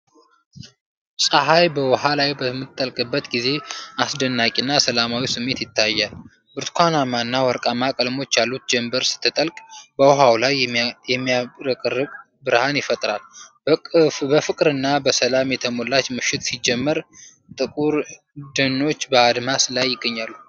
ፀሀይ በውሃ ላይ በምትጠልቅበት ጊዜ አስደናቂ እና ሰላማዊ ስሜት ይታያል። ብርቱካናማና ወርቃማ ቀለሞች ያሉት ጀምበር ስትጠልቅ፣ በውሃው ላይ የሚያብረቀርቅ ብርሃን ይፈጥራል። በፍቅርና በሰላም የተሞላች ምሽት ሲጀምር፣ ጥቁር ደኖች በአድማስ ላይ ይገኛሉ።